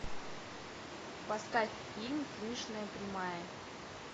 поставь фильм финишная прямая